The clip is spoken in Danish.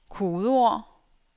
kodeord